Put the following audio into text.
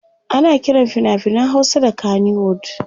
ana Kiran finafinan Hausa da kanywood